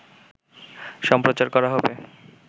সম্প্রচার করা হবে